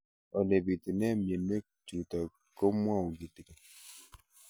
Ole pitune mionwek chutok ko kimwau kitig'�n